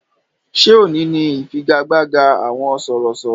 Ṣé òní ni ifigagbaga àwọn sọ̀rọ̀sọ̀rọ̀?